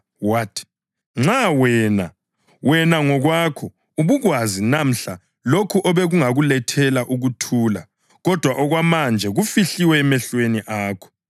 wathi, “Nxa wena, wena ngokwakho, ubukwazi namhla lokho obekungakulethela ukuthula kodwa okwamanje kufihliwe emehlweni akho.